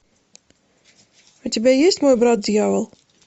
у тебя есть мой брат дьявол